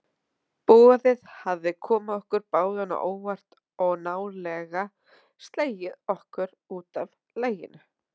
Boðið hafði komið okkur báðum á óvart og nálega slegið okkur útaf laginu.